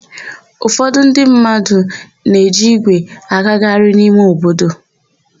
Ụfọdụ ndị mmadụ ne-eji ígwè agagharị n'ime obodo.